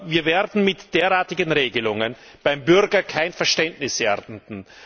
Wir werden mit derartigen Regelungen beim Bürger kein Verständnis ernten.